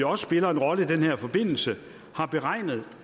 også spiller en rolle i den her forbindelse har beregnet